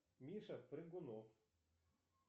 миша прыгунов